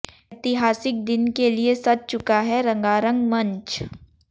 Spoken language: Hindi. ऐतिहासिक दिन के लिए सज चुका है रंगारंग मंच